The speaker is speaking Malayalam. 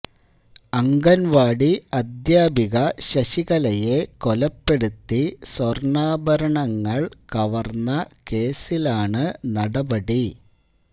അംഗൻവാടി അധ്യാപിക ശശികലയെ കൊലപ്പെടുത്തി സ്വര്ണാഭരണങ്ങള് കവര്ന്ന കേസിലാണ് നടപടി